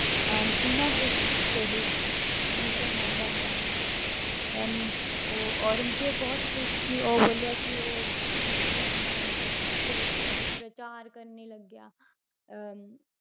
ਅਹ ਬਿਨਾਂ ਕੁਛ ਕਹੇ ਮੁਸਲਮਾਨ ਬਣ ਜਾਣਾ ਹੈ then ਉਹ ਔਰੰਗਜ਼ੇਬ ਬਹੁਤ ਖ਼ੁਸ਼ ਸੀ ਉਹ ਬੋਲਿਆ ਕਿ ਉਹ ਮੁਸਲਮਾਨਾਂ ਦੀ ਪ~ ਅਹ ਪ੍ਰਚਾਰ ਕਰਨੇ ਲੱਗਿਆ ਅਹ